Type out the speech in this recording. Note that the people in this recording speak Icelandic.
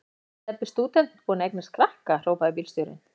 Jæja er Stebbi stúdent búinn að eignast krakka? hrópaði bílstjórinn.